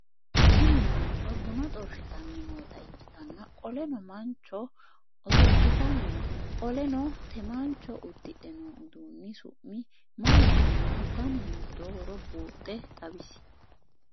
Tini manchcho buna xorshshitanni noota ikkitanna qoleno manchcho osolitani no qoleno te manchcho uddidhe noo uduunni su'mi maatironna danu hiitoohoro buuxxe xawisie ?